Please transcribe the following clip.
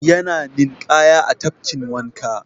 Yana ninƙaya a tafkin wanka.